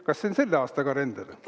Kas see on selle aasta kalender?